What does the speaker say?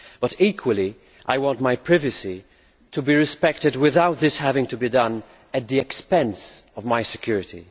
But, equally, I want my privacy to be respected without this having to be done at the expense of my security.